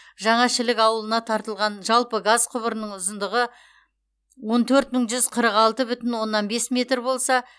жаңа шілік ауылына тартылған жалпы газ құбырының ұзындығы он төрт мың жүз қырық алты бүтін оннан бес метр болса